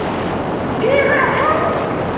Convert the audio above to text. Hugur og hönd!